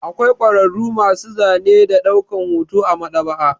Akwai kwararru masu zane da ɗaukan hoto a Maɗ'aba'a.